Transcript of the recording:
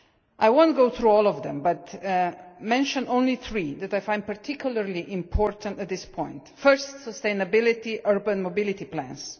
I will not go through all of them, but will mention only three that I find particularly important at this point. First, sustainability and urban mobility plans.